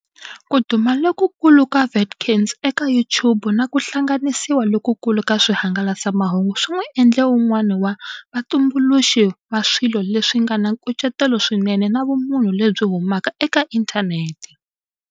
Ku duma lokukulu ka Watkins eka YouTube na ku hlanganisiwa lokukulu ka swihangalasamahungu swi n'wi endle un'wana wa vatumbuluxi va swilo leswi nga na nkucetelo swinene na vumunhu lebyi humaka eka inthanete.